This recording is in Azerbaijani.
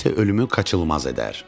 Bu isə ölümü qaçılmaz edər.